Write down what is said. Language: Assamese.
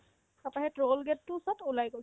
তাৰপাই সেই toll gate তোৰ ওচৰত ওলাই গ'ল